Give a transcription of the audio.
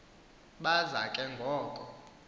baza ke ngoko